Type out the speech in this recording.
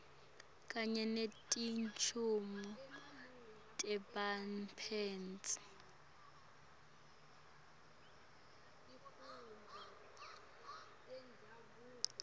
kanye netincumo tebaphatsi